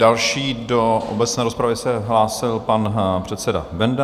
Další do obecné rozpravy se hlásil pan předseda Benda.